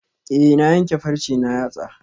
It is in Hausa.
Eh na yanke farce na yatsa